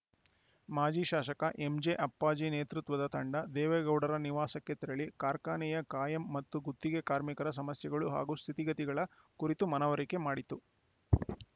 ಮಾಜಿ ಶಾಸಕ ಎಂಜೆ ಅಪ್ಪಾಜಿ ನೇತೃತ್ವದ ತಂಡ ದೇವೇಗೌಡರ ನಿವಾಸಕ್ಕೆ ತೆರಳಿ ಕಾರ್ಖಾನೆಯ ಕಾಯಂ ಮತ್ತು ಗುತ್ತಿಗೆ ಕಾರ್ಮಿಕರ ಸಮಸ್ಯೆಗಳು ಹಾಗೂ ಸ್ಥಿತಿಗತಿಗಳ ಕುರಿತು ಮನವರಿಕೆ ಮಾಡಿತು